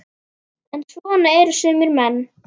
En svona eru sumir menn.